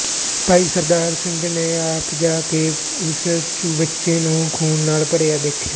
ਭਾਈ ਸਰਦਾਰਾ ਸਿੰਘ ਨੇ ਆਪ ਜਾ ਕੇ ਉਸ ਚੁਬੱਚੇ ਨੂੰ ਖੂਨ ਨਾਲ ਭਰਿਆ ਦੇਖਿਆ